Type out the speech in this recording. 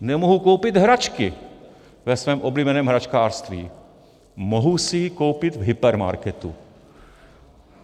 Nemohu koupit hračky ve svém oblíbeném hračkářství, mohu si je koupit v hypermarketu.